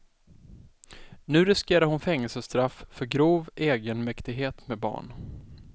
Nu riskerar hon fängelsestraff för grov egenmäktighet med barn.